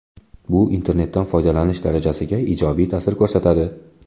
Bu internetdan foydalanish darajasiga ijobiy ta’sir ko‘rsatadi.